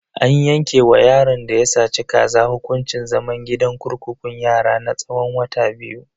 An yanke wa yaron da ya saci kaza hukuncin zaman gidan kurkukun yara na tsawon wata biyu.